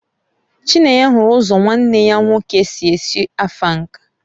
Chinyere hụrụ ụzọ nwanne ya nwoke si esi Afang